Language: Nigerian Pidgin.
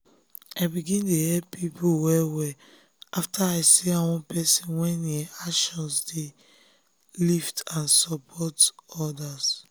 i begin dey help people well-well after i see how one person wey e actions dey lift n support others.